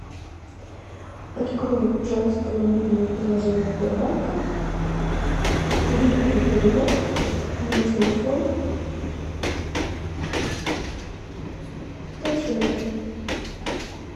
открой пожалуйста мобильное приложение сбербанка и выполни перевод на телефон татьяны